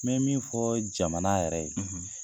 Bɛ min fɔ jamana yɛrɛ ye, .